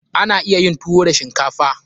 Ana iya yin tuwo da shinkafa.